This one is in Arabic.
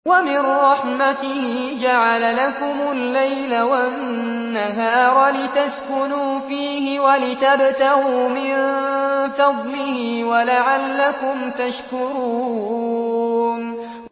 وَمِن رَّحْمَتِهِ جَعَلَ لَكُمُ اللَّيْلَ وَالنَّهَارَ لِتَسْكُنُوا فِيهِ وَلِتَبْتَغُوا مِن فَضْلِهِ وَلَعَلَّكُمْ تَشْكُرُونَ